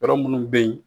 Yɔrɔ minnu bɛ yen